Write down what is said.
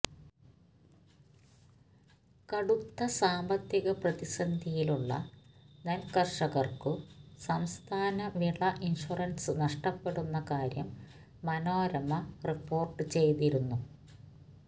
കടുത്ത സാമ്പത്തിക പ്രതിസന്ധിയിലുള്ള നെൽക്കർഷകർക്കു സംസ്ഥാന വിള ഇൻഷുറൻസ് നഷ്ടപ്പെടുന്ന കാര്യം മനോരമ റിപ്പോർട്ടു ചെയ്തിരുന്നു